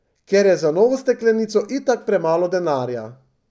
Ker je za novo steklenico itak premalo denarja.